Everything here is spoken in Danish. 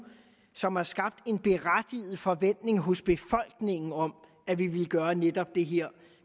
som har skabt en berettiget forventning hos befolkningen om at vi ville gøre netop det her